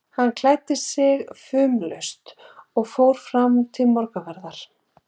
Hann klæddi sig fumlaust og fór fram til morgunverðar.